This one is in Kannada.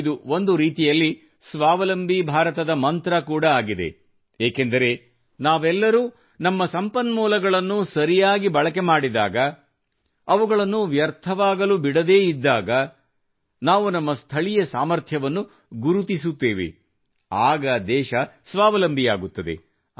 ಇದು ಒಂದು ರೀತಿಯಲ್ಲಿ ಸ್ವಾವಲಂಬಿ ಭಾರತದ ಮಂತ್ರ ಕೂಡಾ ಆಗಿದೆ ಏಕೆಂದರೆ ನಾವೆಲ್ಲರೂ ನಮ್ಮ ಸಂಪನ್ಮೂಲಗಳನ್ನು ಸರಿಯಾಗಿ ಬಳಕೆ ಮಾಡಿದಾಗ ಅವುಗಳನ್ನು ವ್ಯರ್ಥವಾಗಲು ಬಿಡದೇ ಇದ್ದಾಗ ನಾವು ನಮ್ಮ ಸ್ಥಳೀಯ ಸಾಮರ್ಥ್ಯವನ್ನು ಗುರುತಿಸುತ್ತೇವೆ ಆಗ ದೇಶ ಸ್ವಾವಲಂಬಿಯಾಗುತ್ತದೆ